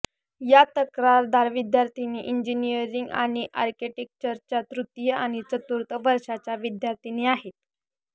या तक्रारदार विद्यार्थिनी इंजिनीअरिंग आणि आर्किटेक्टचरच्या तृतीय आणि चतुर्थ वर्षाच्या विद्यार्थिनी आहेत